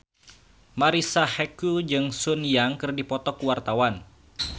Marisa Haque jeung Sun Yang keur dipoto ku wartawan